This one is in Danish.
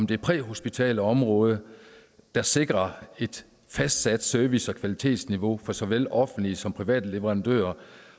det præhospitale område der sikrer et fastsat service og kvalitetsniveau for såvel offentlige som private leverandører